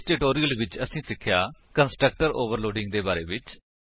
ਇਸ ਟਿਊਟੋਰਿਅਲ ਵਿੱਚ ਅਸੀਂ ਸਿੱਖਿਆ ਕੰਸਟਰਕਟਰ ਓਵਰਲੋਡਿੰਗ ਦੇ ਬਾਰੇ ਵਿੱਚ